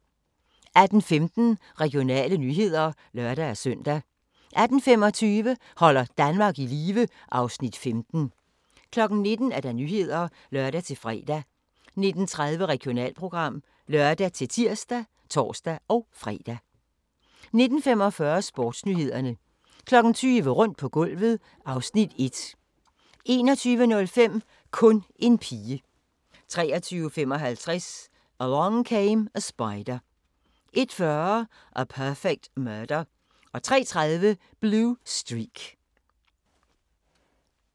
18:15: Regionale nyheder (lør-søn) 18:25: Holder Danmark i live (Afs. 15) 19:00: Nyhederne (lør-fre) 19:30: Regionalprogram (lør-tir og tor-fre) 19:45: Sportsnyhederne 20:00: Rundt på gulvet (Afs. 1) 21:05: Kun en pige 23:55: Along Came a Spider 01:40: A Perfect Murder 03:30: Blue Streak